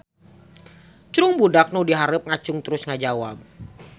Cung budak nu dihareup ngacung terus ngajawab.